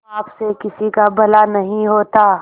पाप से किसी का भला नहीं होता